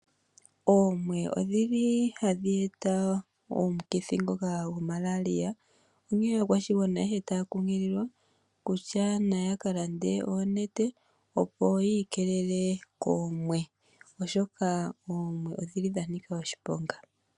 Oomwe odhili hadhi eta omukithi ngoka hagu ithanwa Malaria onkee aakwashigwana taya nkunkiliwa opo ya ka lande oonete oshoka oomwe odhili dha Nika oshiponga.